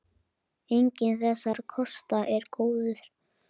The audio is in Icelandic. Enginn þessara kosta er góður.